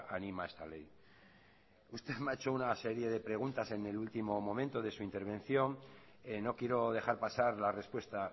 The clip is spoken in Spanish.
anima a esta ley usted me ha hecho una serie de preguntas en el último momento de su intervención no quiero dejar pasar la respuesta